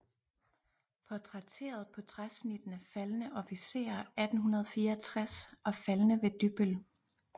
Portrætteret på træsnittene Faldne Officerer 1864 og Faldne ved Dybbøl